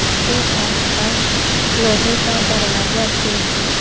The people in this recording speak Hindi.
उसके आसपास लोहे का दरवाजा भी है।